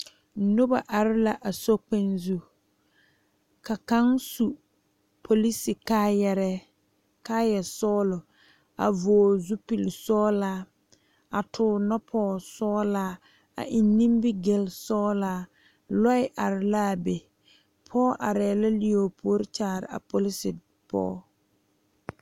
Noba are la a sokpɛɛ zu ka kaŋa su polisi kaayare kaaya sɔglɔ a vɔgle zupele sɔglaa a tuure noɔ poɔ sɔglaa a eŋ nimigel sɔglaa lɔɛ are la be pɔge are la lɛɛ o puori kyaare a polisi pɔge.